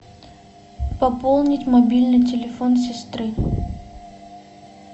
пополнить мобильный телефон сестры